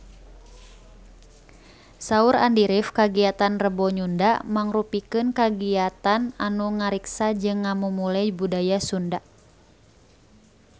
Saur Andy rif kagiatan Rebo Nyunda mangrupikeun kagiatan anu ngariksa jeung ngamumule budaya Sunda